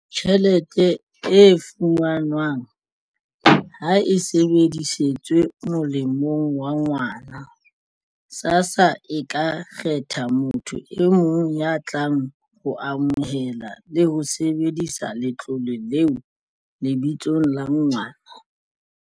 Tjhelete e fumanwang ha e sebedisetswe molemong wa ngwana, SASSA e ka kgetha motho e mong ya tlang ho amohela le ho sebedisa letlole leo lebitsong la ngwana.